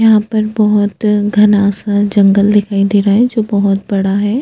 यहाँ पर बहोत घना सा जंगल दिखाई दे रहा है जो बहोत बड़ा है।